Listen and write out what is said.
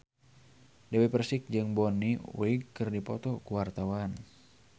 Dewi Persik jeung Bonnie Wright keur dipoto ku wartawan